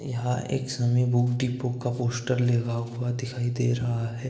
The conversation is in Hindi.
यहाँ एक समी बुक डिपो का पोस्टर लेगा हुआ दिखाई दे रहा है।